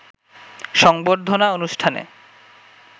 সংবর্ধনা অনুষ্ঠানে